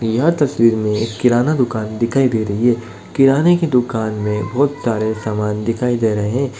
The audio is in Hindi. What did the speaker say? यह तस्वीर में एक किराना दुकान दिखाई दे रही है किराने की दुकान में बोहोत सारे सामान दिखाई दे रहे हैं।